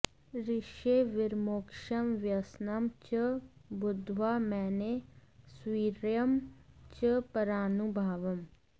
ऋषेर्विमोक्षं व्यसनं च बुद्ध्वा मेने स्ववीर्यं च परानुभावम्